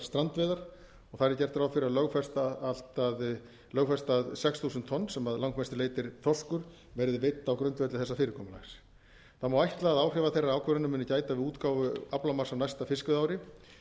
strandveiðar þar er gert ráð fyrir að lögfesta að sex þúsund tonn sem að langmestu er þorskur verði veidd á grundvelli þessa fyrirkomulags það má ætla að áhrifa þeirrar ákvörðunar muni gæta við útgáfu aflamarks á næsta fiskveiðiári